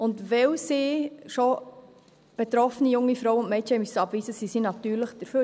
Und weil sie schon betroffene junge Frauen und Mädchen abweisen mussten, sind sie natürlich dafür.